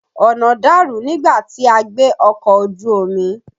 Ọ̀nà dàrú nígbà tí a gbé ọkọ̀ ojú omi.